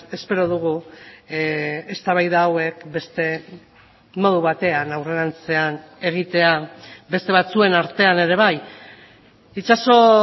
espero dugu eztabaida hauek beste modu batean aurrerantzean egitea beste batzuen artean ere bai itxaso